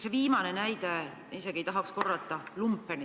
Teie viimane näide puudutas, ma isegi ei tahaks seda sõna korrata, lumpenit.